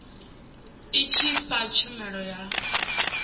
i tshi fha tshumelo ya